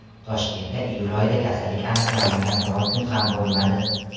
Toshkentda iyul oyida kasallik aniqlanmagan biron kun ham bo‘lmadi.